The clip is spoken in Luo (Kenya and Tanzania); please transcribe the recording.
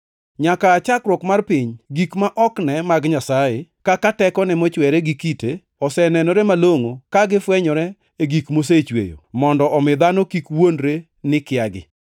Nyaka aa chakruok mar piny, gik ma ok ne mag Nyasaye, kaka tekone mochwere gi kite, osenenore malongʼo ka gifwenyore e gik mosechweyo, mondo omi dhano kik wuondre ni kiagi.